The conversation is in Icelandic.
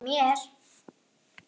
En ekki mér.